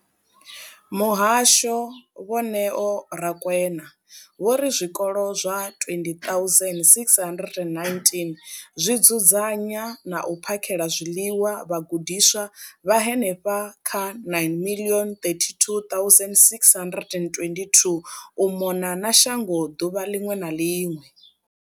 Muhasho, Vho Neo Rakwena, vho ri zwikolo zwa 20 619 zwi dzudzanya na u phakhela zwiḽiwa vhagudiswa vha henefha kha 9 032 622 u mona na shango ḓuvha ḽiṅwe na ḽiṅwe.